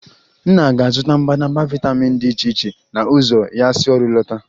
Nna ga-azụta mbadamba vitamin dị iche iche na ụzọ ya si ọrụ lọta